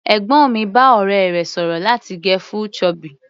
Ẹ̀gbọ́n mi bá ọ̀rẹ́ rẹ̀ sọ̀rọ̀ láti gẹ full choppy.